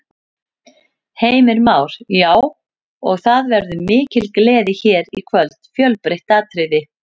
Heimir Már: Já, og það verður mikil gleði hér í kvöld, fjölbreytt atriði?